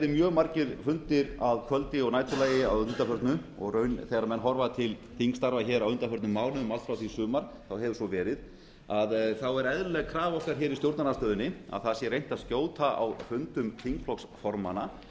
mjög margir fundir að kvöldi og næturlagi að undanförnu og þegar menn horfa til þingstarfa á undanförnum mánuðum allt frá því í sumar hefur svo verið er eðlileg krafa okkar í stjórnarandstöðunni að reynt sé að skjóta á fundum þingflokksformanna